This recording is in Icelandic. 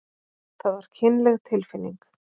Það var kynleg tilfinning.